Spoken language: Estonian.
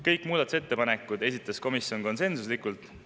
Kõik muudatusettepanekud esitas komisjon konsensuslikult.